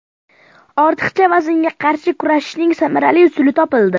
Ortiqcha vaznga qarshi kurashning samarali usuli topildi.